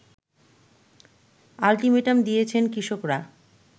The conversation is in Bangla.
আলটিমেটাম দিয়েছেন কৃষকরা